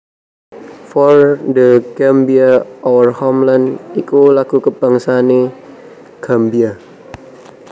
For The Gambia Our Homeland iku lagu kabangsané Gambia